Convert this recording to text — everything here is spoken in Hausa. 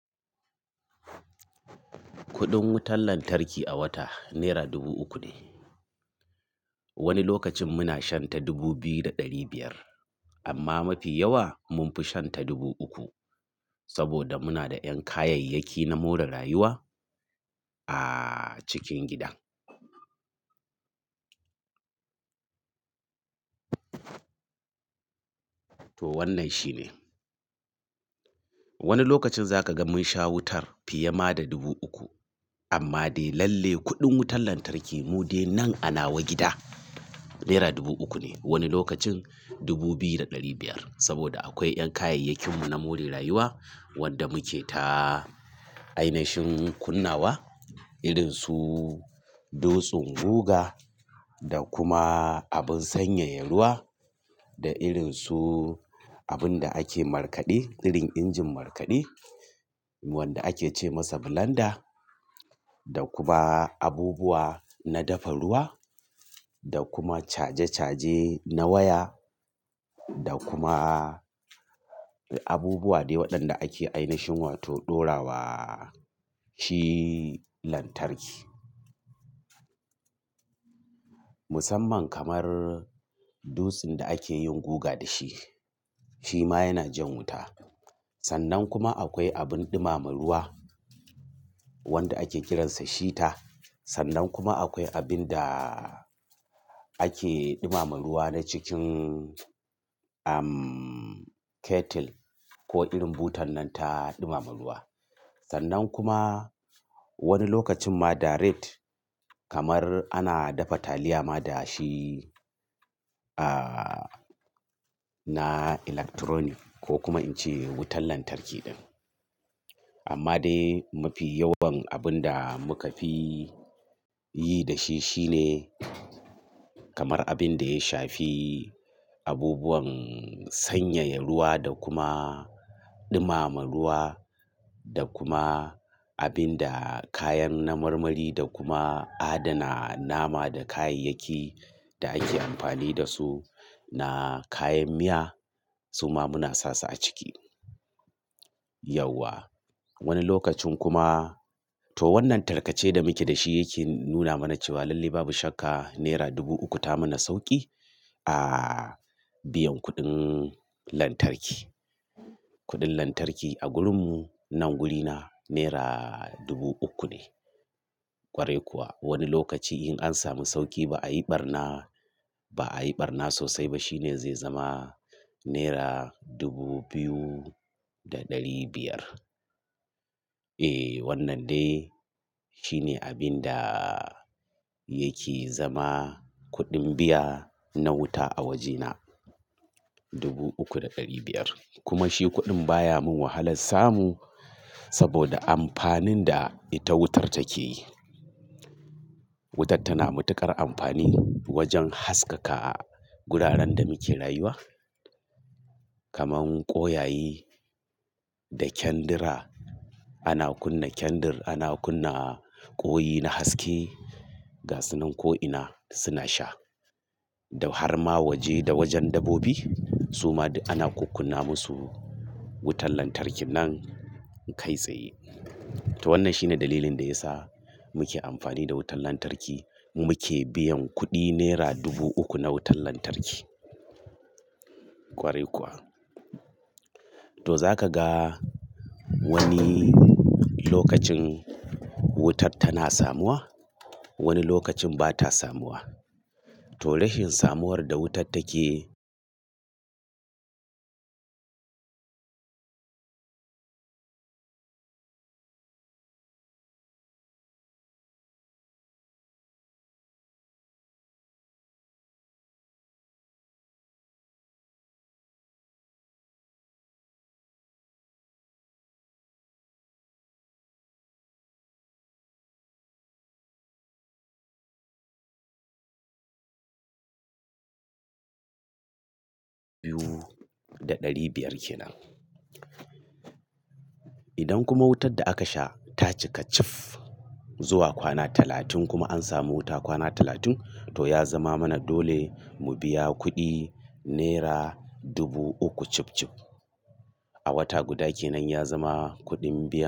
Kuɗin wutar lantarki a wata nera dubu uku ne. Wani lokacin muna shan ta dubu biyu da ɗari biyar amma mafi yawa munfi shan ta dubu uku saboda muna da ƴan kayayyaki na more rayuwa a cikin gidan. To wannan shine. Wani lokacin zaka ga mun sha wutar fiye ma da dubu uku amma dai lalle kuɗin wutar lantarki mu dai nan ana wa gida nera dubu uku ne. Wani lokacin dubu biyu da ɗari biyar saboda akwai ƴan kayayyakin mu na more rayuwa wanda muke ta ainashin kunnawa irin su dutsen guga da kuma abin sanyaya ruwa da irin su abunda ake markaɗe, irin injin markaɗe wanda ake ce masa blender da kuma abubuwa na dafa ruwa da kuma caje caje na waya da kuma abubuwa dai waɗanda ake ainashin wato ɗora wa shi lantarki. Musamman kamar dutsin da ake yin guga da shi, shi ma yana jan wuta. Sannan kuma akwai abin ɗumama ruwa wanda ake kiransa shita. Sannan kuma akwai abin da ake ɗumama ruwa na cikin, umm kettle ko irin butan nan ta ɗumama ruwa. Sannan kuma wani lokacin ma da ret kamar ana dafa taliya ma da shi, ah na electronic ko kuma in ce wutan lantarki. Amma dai mafi yawan abun da muka fi yi da shi shine kamar abin da ya shafi abubuwan sanyaya ruwa da kuma ɗumama ruwa da kuma abin da kayan na marmari da kuma adana nama da kayayyaki da ake amfani da su na kayan miya suma muna sasu a ciki. Yauwa. Wani lokacin kuma to wannan tarkace da muke da shi yake nuna mana cewa lalle babu shakka nera dubu uku ta mana sauƙi a biyan kuɗin lantarki. Kuɗin lantarki a gurinmu nan guri na nera dubu uku ne. Kwarai kuwa wani lokaci in an samu sauƙi ba a yi ɓarna, ba a yi ɓarna sosai ba shine zai zama naira dubu biyu da ɗari biyar. E wannan dai shine abin da yake zama kuɗin biya na wuta a wajena dubu uku da ɗari biyar. Kuma shi kuɗin baya mun wahalan samu saboda amfanin da ita wutar take yi. Wutar tana matuƙar amfani wajen haskaka a wuraren da muke rayuwa. Kaman ƙoyayi da kyandira. Ana kunna kyandir, ana kunna ƙoyi na haske ga sannan ko ina suna sha. Da har ma waje da wajen dabobi suma duk ana kukkunna musu wutan lantarki nan kai tsaye. To wannan shine dalilin da ya sa muke amfani da wutan lantarki. Muke biyan kuɗi nera dubu uku na wutan lantarki. Kwarai kuwa. To zaka ga wani lokacin wutar tana samuwa, wani lokacin bata samuwa. To rashin samuwar da wutat take. Biyu da ɗari biyar kenan. Idan kuma wutar da aka sha ta cika cif zuwa kwana talatin kuma an samu wuta kwana talatin to ya zama mana dole mu biya kuɗi naira dubu uku cibcib. A wata guda kenan ya zama kuɗin biya.